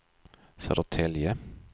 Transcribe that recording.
Södertälje